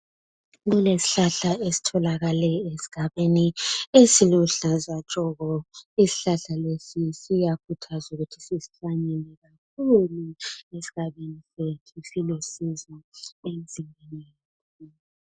Kule sihlahla esitholakele esigabeni esiluhlaza tshoko. Isihlahla lesi siyakhuthazwa ukuthi sisihlanyele kakhulu esigabeni sethu silusizo emzimbeni.